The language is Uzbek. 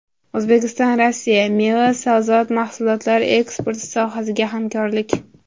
O‘zbekistonRossiya: Meva va sabzavot mahsulotlari eksporti sohasidagi hamkorlik.